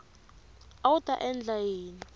a wu ta endla yini